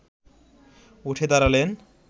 উঠে দাঁড়ালেন